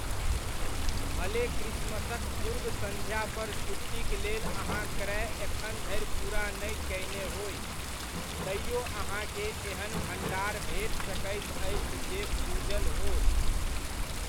भले क्रिसमसक पूर्व संध्यापर छुट्टीक लेल अहाँ क्रय एखन धरि पूरा नहि कयने होइ, तैओ अहाँकेँ एहन भण्डार भेट सकैत अछि जे फुजल हो।